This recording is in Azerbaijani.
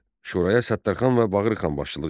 Şuraya Səttərxan və Bağırxan başçılıq etdilər.